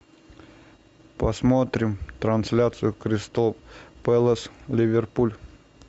посмотрим трансляцию кристал пэлас ливерпуль